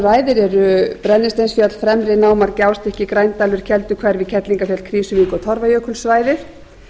ræðir eru brennisteinsfjöll fremri náma gjástykki grændalur kelduhverfi kerlingarfjöll krýsuvík og torfajökulssvæðið